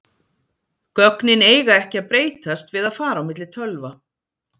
Gögnin eiga ekki að breytast við að fara á milli tölva.